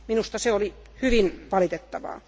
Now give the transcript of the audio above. Minusta se oli hyvin valitettavaa.